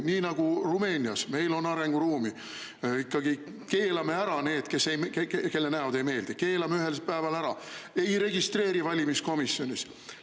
–, nii nagu Rumeenias, meil on arenguruumi, keelame ära need, kelle näod ei meeldi, keelame ühel päeval ära ega registreeri neid valimiskomisjonis.